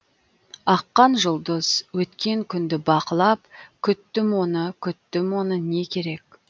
аққан жұлдыз өткен күнді бақылап күттім оны күттім оны не керек